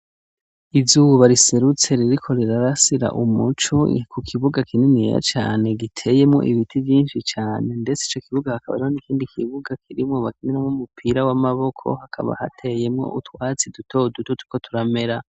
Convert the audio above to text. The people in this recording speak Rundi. Izuba riserutse ririko rirarasira umucu niku kibuga kinini ya cane giteyemwo ibiti vyinshi cane, ndetse ico kibuga hakabaro n'ikindi kibuga kirimwobakinyanmwo umupira w'amaboko hakaba hateyemwo utwatsi dutodututuko turamera.